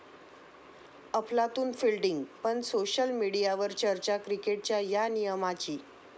अफलातून फिल्डिंग पण सोशल मीडियवर चर्चा क्रिकेटच्या 'या' नियमाची